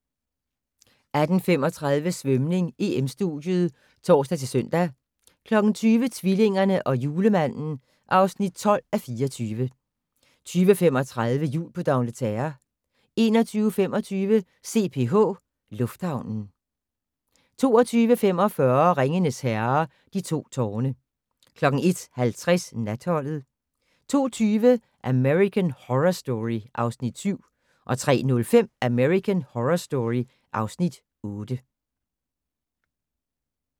18:35: Svømning: EM-studiet (tor-søn) 20:00: Tvillingerne og Julemanden (12:24) 20:35: Jul på D'Angleterre 21:25: CPH Lufthavnen 22:45: Ringenes Herre - De to tårne 01:50: Natholdet 02:20: American Horror Story (Afs. 7) 03:05: American Horror Story (Afs. 8)